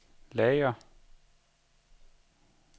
lager